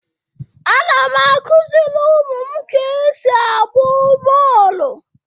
Ana m akuzịrị ụmụ m ka esi agba bọọlụ.